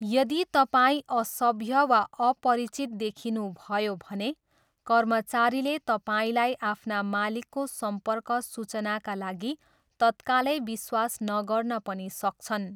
यदि तपाईँ असभ्य वा अपरिचित देखिनुभयो भने कर्मचारीले तपाईँलाई आफ्ना मालिकको सम्पर्क सूचनाका लागि तत्कालै विश्वास नगर्न पनि सक्छन्।